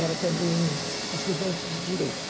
Era também estudante de Direito.